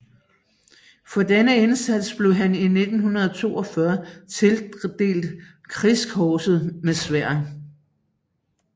For denne indsats blev han i 1942 tildelt Krigskorset med Sværd